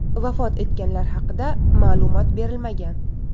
Vafot etganlar haqida ma’lumot berilmagan.